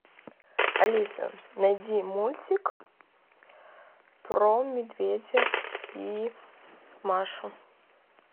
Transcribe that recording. алиса найди мультик про медведя и машу